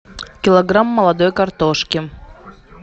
килограмм молодой картошки